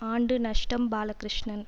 ஆண்டு நஷ்டம் பாலகிருஷ்ணன்